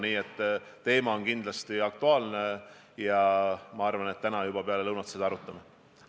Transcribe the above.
Nii et teema on kindlasti aktuaalne ja ma arvan, et täna peale lõunat me seda arutame.